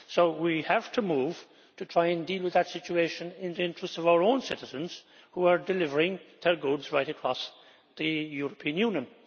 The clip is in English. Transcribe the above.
So we have to move to try and deal with that situation in the interests of our own citizens, who are delivering their goods right across the European Union.